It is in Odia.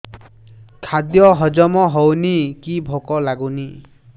ଖାଦ୍ୟ ହଜମ ହଉନି କି ଭୋକ ଲାଗୁନି